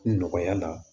Nɔgɔya la